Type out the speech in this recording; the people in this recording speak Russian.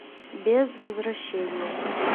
без возвращения